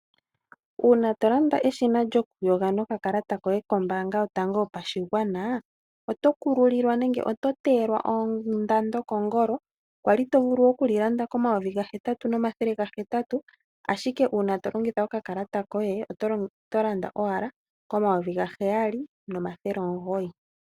Uuna tolanda eshina lyokuyoga nokakalata koye kombaanga yotango yopashigwana oto kululilwa nenge to teyelwa ondando kongolo kwali tovulu okulilanda komayovi gahetatu nomathele gahetatu ashike uuna tolongitha okakalata koye oto landa owala komayovi gaheyali nomathele omugoyi.